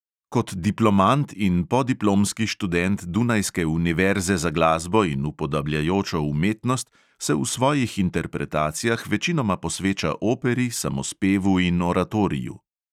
Kot diplomant in podiplomski študent dunajske univerze za glasbo in upodabljajočo umetnost se v svojih interpretacijah večinoma posveča operi, samospevu in oratoriju.